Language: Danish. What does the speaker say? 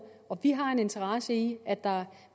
vi har en interesse i at der